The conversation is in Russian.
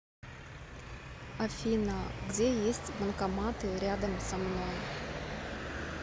афина где есть банкоматы рядом со мной